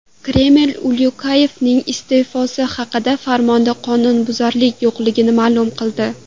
Kreml Ulyukayevning iste’fosi haqidagi farmonda qonunbuzarlik yo‘qligini ma’lum qildi.